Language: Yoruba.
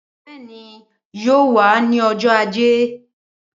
Bẹẹni yóò wà ni ọjọ ajé